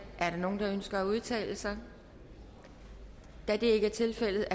er der nogen der ønsker at udtale sig da det ikke er tilfældet